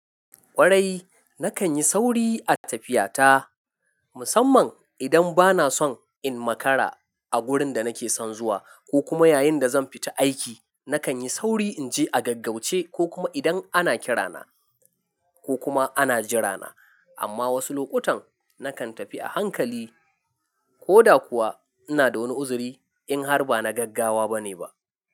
Kwarai, na kan yi sauri a tafiya ta, musamman idan ba na son in makara a wurin da na ke son zuwa ko kuma yayin da zan fita aiki. Na kan yi sauri in je a gaggauce ko kuma idan ana kirana ko kuma ana jirana. Amma wasu lokutan, na kan tafi a hankali ko da kuwa ina da wani uzuri in har ba na gaggawa ba ne ba.